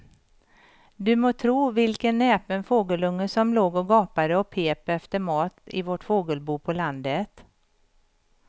Du må tro vilken näpen fågelunge som låg och gapade och pep efter mat i vårt fågelbo på landet.